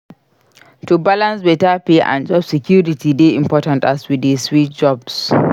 To balance beta pay and job security dey important as we dey switch jobs.